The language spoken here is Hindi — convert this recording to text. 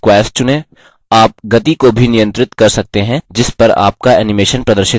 आप गति को भी नियंत्रित कर सकते हैं जिस पर आपका animation प्रदर्शित होता है